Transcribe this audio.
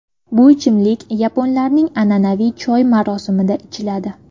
Bu ichimlik yaponlarning an’anaviy choy marosimida ichiladi.